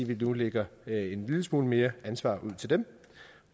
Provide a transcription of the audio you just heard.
vi nu lægger en lille smule mere ansvar ud til dem